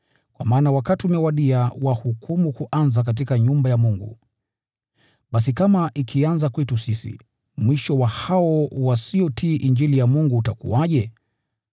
Kwa maana wakati umewadia wa hukumu kuanzia katika nyumba ya Mungu. Basi kama ikianzia kwetu sisi, mwisho wa hao wasiotii Injili ya Mungu utakuwaje?